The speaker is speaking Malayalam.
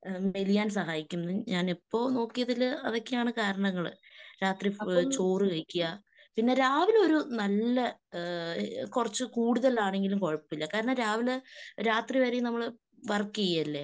മ്മ് മെലിയാൻ സഹായിക്കുമെന്ന് ഞാൻ ഇപ്പൊ നോക്കിയതിൽ അതൊക്കെയാണ് കാരണങ്ങള്. രാത്രി ചോറ് കഴിക്കുക, പിന്നെ രാവിലെ ഒരു നല്ല ഏഹ് കുറച്ച് കൂടുതൽ ആണെങ്കിലും കുഴപ്പമില്ല. കാരണം രാവിലെ രാത്രിവരേയും നമ്മള് വർക്ക് ചെയ്യുവല്ലേ